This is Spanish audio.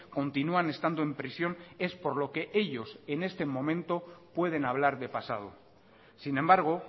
continúan estando en prisión es por lo que ellos en este momento pueden hablar de pasado sin embargo